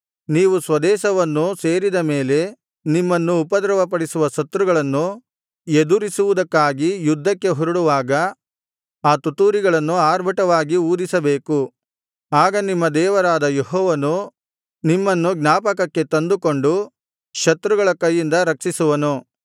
ನೀವು ಸ್ವದೇಶವನ್ನು ಸೇರಿದ ಮೇಲೆ ನಿಮ್ಮನ್ನು ಉಪದ್ರವಪಡಿಸುವ ಶತ್ರುಗಳನ್ನು ಎದುರಿಸುವುದಕ್ಕಾಗಿ ಯುದ್ಧಕ್ಕೆ ಹೊರಡುವಾಗ ಆ ತುತ್ತೂರಿಗಳನ್ನು ಆರ್ಭಟವಾಗಿ ಊದಿಸಬೇಕು ಆಗ ನಿಮ್ಮ ದೇವರಾದ ಯೆಹೋವನು ನಿಮ್ಮನ್ನು ಜ್ಞಾಪಕಕ್ಕೆ ತಂದುಕೊಂಡು ಶತ್ರುಗಳ ಕೈಯಿಂದ ರಕ್ಷಿಸುವನು